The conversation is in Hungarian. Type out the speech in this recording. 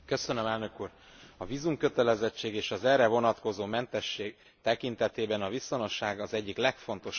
A vízumkötelezettség, és az erre vonatkozó mentesség tekintetében a viszonosság az egyik legfontosabb vezérlő elv.